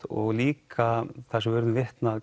og líka það sem við urðum vitni